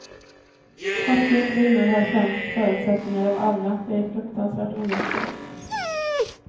Fattiga kvinnor har sämst förutsättningar av alla, det är fruktansvärt ojämställt.